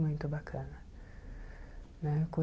Muito bacana né.